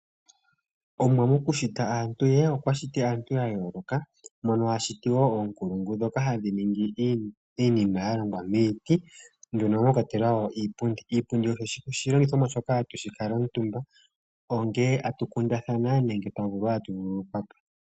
Omuwa mokushita aantu ye okwa shiti aantu ya yooloka mono a shiti woo oonkulungu ndhoka hadhi ningi iinima ya longwa miiti, mono mwa kwatelwa iipundi. Iipundi oyo oshilongithomwa shoka hatu kala omutumba ongele atu kundathana nenge twa vulwa tatu vululukwa po.